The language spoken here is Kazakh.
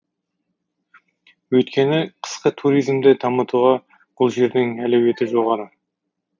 өйткені қысқы туризмді дамытуға бұл жердің әлеуеті жоғары